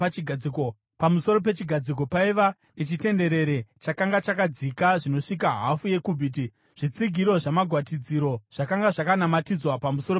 Pamusoro pechigadziko paiva nechitenderere chakanga chakadzika zvinosvika hafu yekubhiti . Zvitsigiro namagwatidziro zvakanga zvakanamatidzwa pamusoro pechigadziko.